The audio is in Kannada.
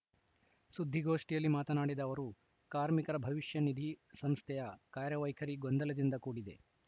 ಸುದ್ದಿಗೋಷ್ಠಿಯಲ್ಲಿ ಮಾತನಾಡಿದ ಅವರು ಕಾರ್ಮಿಕರ ಭವಿಷ್ಯ ನಿಧಿ ಸಂಸ್ಥೆಯ ಕಾರ್ಯ ವೈಖರಿ ಗೊಂದಲದಿಂದ ಕೂಡಿದೆ